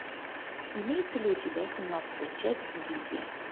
имеется ли у тебя семнадцатая часть гильдия